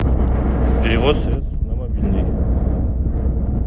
перевод средств на мобильный